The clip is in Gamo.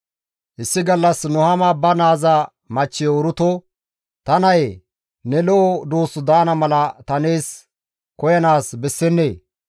Issi gallas Nuhaama ba naaza machchiyo Uruto, «Ta nayee ne lo7o duus daana mala ta nees koyanaas bessennee?